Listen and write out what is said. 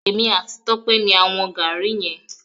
Èmi àti Tọ́pẹ́ ni a wọn Gaàrí yẹn.